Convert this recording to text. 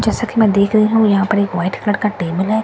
जैसा कि मैं देख रही हूं यहां पर एक व्हाइट कलर का टेबल है।